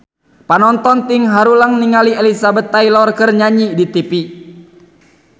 Panonton ting haruleng ningali Elizabeth Taylor keur nyanyi di tipi